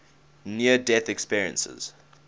near death experiences